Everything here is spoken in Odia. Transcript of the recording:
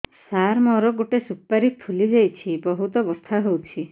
ସାର ମୋର ଗୋଟେ ସୁପାରୀ ଫୁଲିଯାଇଛି ବହୁତ ବଥା ହଉଛି